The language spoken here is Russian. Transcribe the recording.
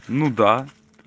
ну да